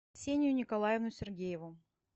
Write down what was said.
ксению николаевну сергееву